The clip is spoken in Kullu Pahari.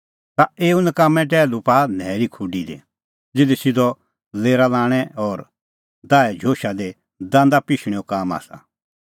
ता एऊ नकाम्मैं टैहलू पाआ न्हैरी खुडी दी ज़िधी सिधअ लेरा लाणैं और दाहे झोशा दी दांदा पिशणैंओ काम आसा